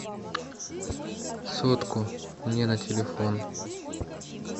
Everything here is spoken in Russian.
сотку мне на телефон